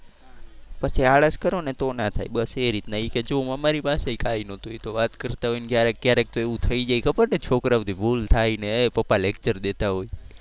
પછી આળસ કરો ને તો ના થાય બસ એ રીતના. એ કે જો અમારી પાસે કઈ નતું. એ તો વાર કરતાં હોય ને ક્યારેક ક્યારેક તો એવું થઈ જાય ખબર ને છોકરાઓ થી ભૂલ થાય ને એ પપ્પા lecture દેતા હોય.